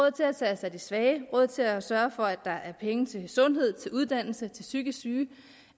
at tage os af de svage råd til at sørge for at der er penge til sundhed til uddannelse til psykisk syge